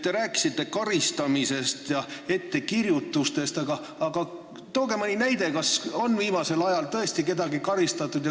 Te rääkisite karistamisest ja ettekirjutustest, aga tooge mõni näide, kas viimasel ajal on tõesti kedagi karistatud.